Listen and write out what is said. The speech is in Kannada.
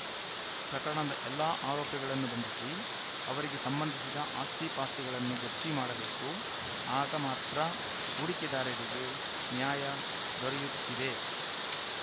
ಪ್ರಕರಣದ ಎಲ್ಲ ಆರೋಪಿಗಳನ್ನು ಬಂಧಿಸಿ ಅವರಿಗೆ ಸಂಬಂಧಿಸಿದ ಆಸ್ತಿಪಾಸ್ತಿಗಳನ್ನು ಜಪ್ತಿ ಮಾಡಬೇಕು ಆಗ ಮಾತ್ರ ಹೂಡಿಕೆದಾರರಿಗೆ ನ್ಯಾಯ ದೊರೆಯುತ್ತಿದೆ